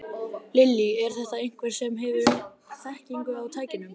Lillý: Er þetta einhver sem hefur þekkingu á tækjunum?